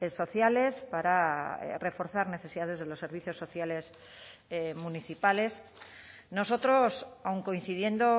sociales para reforzar necesidades de los servicios sociales municipales nosotros aun coincidiendo